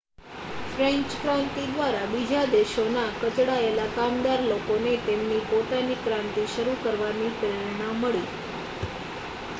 French ક્રાંતિ દ્વારા બીજા દેશોના કચડાયેલા કામદાર લોકોને તેમની પોતાની ક્રાંતિ શરૂ કરવાની પ્રેરણા પણ મળી